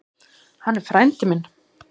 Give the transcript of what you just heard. Hann er frændi minn.